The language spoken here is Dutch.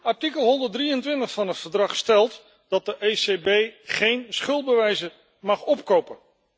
Artikel 123 van het Verdrag stelt dat de ECB geen schuldbewijzen mag opkopen.